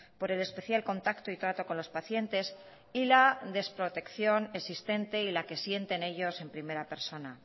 por el especial contacto y trato con los pacientes y la desprotección existente y la que sienten ellos en primera persona